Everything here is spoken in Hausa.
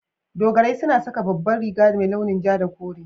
Dogarai suna saka babbar riga mai launin ja da kore.